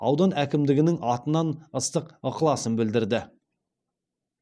аудан әкімдігінің атынан ыстық ықыласын білдірді